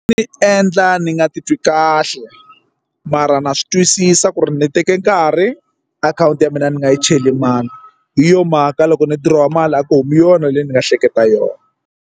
Swi ni endla ni nga titwi kahle mara na swi twisisa ku ri ni teke nkarhi akhawunti ya mina ni nga yi cheli mali hi yo mhaka loko ni diroha mali a ku humi yona leyi ni nga hleketa yona.